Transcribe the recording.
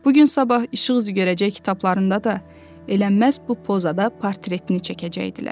Bu gün sabah işıq üzü görəcək kitablarında da elə məhz bu pozada portretini çəkəcəkdilər.